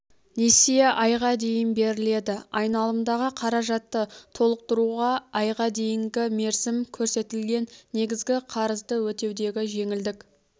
несие айға дейін беріледі айналымдағы қаражатты толтықтыруға айға дейінгі мерзім көрсетілген негізгі қарызды өтеудегі жеңілдік